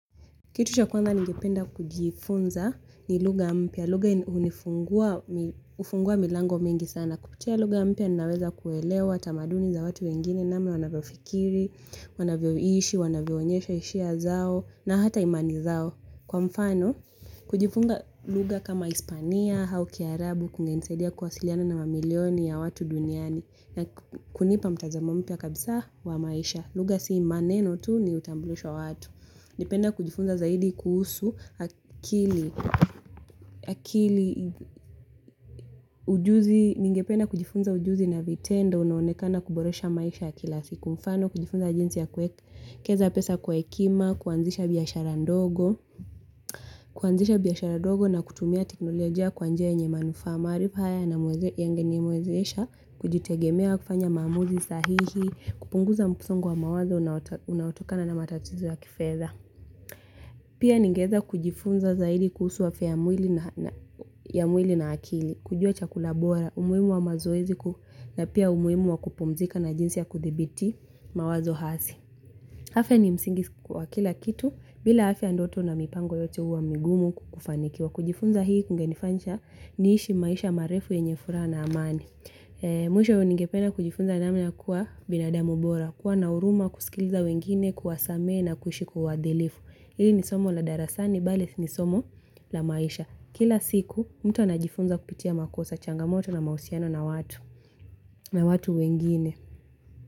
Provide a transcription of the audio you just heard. Kitu cha kwanza ningependa kujifunza ni luga mpia. Luga unifungua milango mingi sana. Kupitia luga mpia ninaweza kuelewa tamaduni za watu wengine namna wanavyo fikiri, wanavyo ishi, wanavyo nyesha ishiya zao na hata imani zao. Kwa mfano, kujifunza luga kama Hispania hau kiarabu kungenisedia kuwasiliana na mamilioni ya watu duniani na kunipa mtazamompia kabisa wa maisha. Luga si maneno tu ni utambulisho wa watu. Nipenda kujifunza zaidi kuhusu akili ujuzi, ningependa kujifunza ujuzi na vitendo, unaonekana kuboresha maisha kila siku, mfano kujifunza jinsi ya kuekeza pesa kwa ekima, kuanzisha biyashara ndogo, kuanzisha biyashara ndogo na kutumia teknolojia kwa njia yenye manufa maharipa haya namuweze yangenimuwezesha, kujitegemea kufanya mamuzi sahihi, kupunguza msongo wa mawazo, unaotokana na matatizo ya kifedha. Pia ningeeza kujifunza zaidi kuhusu afia ya mwili na akili, kujua chakula bora, umuhimu wa mazoezi na pia umuhimu wa kupumzika na jinsi ya kudhibiti mawazo hasi. Afya ni msingi kwa kila kitu bila afya ndoto na mipango yote huwa migumu kufanikiwa. Kujifunza hii kungenifanisha niishi maisha marefu yenye furaha na amani. Mwisho ningependa kujifunza namna kuwa binadamu bora, kuwa nahuruma, kusikiliza wengine, kuwasamehe na kuishi kwa uadhilifu. Hili ni somo la darasani, bali ni somo la maisha. Kila siku, mtu anajifunza kupitia makosa, changamoto na mahusiano na watu, na watu wengine.